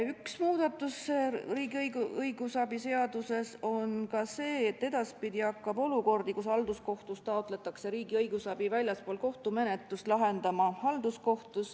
Üks muudatus riigi õigusabi seaduses on ka see, et edaspidi hakkab olukordi, kus halduskohtus taotletakse riigi õigusabi väljaspool kohtumenetlust, lahendama halduskohus.